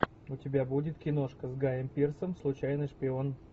у тебя будет киношка с гаем пирсом случайный шпион